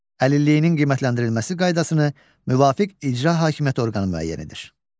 Əlilliyinin qiymətləndirilməsi qaydasını müvafiq icra hakimiyyəti orqanı müəyyən edir.